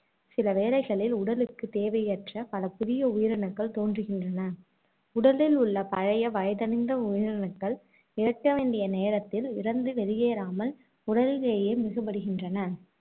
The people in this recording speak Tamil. சில வளைகளில் உடலுக்கு தேவையற்ற பல புதிய உயிரணுக்கள் தோன்றுகின்றன. உடலில் உள்ள பழைய வயதடைந்த உயிரணுக்கள் இறக்க வேண்டிய நேரத்தில் இறந்து வெளியேறாமல் உடலிலேயே மிகுபடிகின்றன